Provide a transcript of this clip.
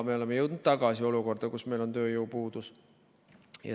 Me oleme jõudnud tagasi olukorda, kus meil on tööjõupuudus.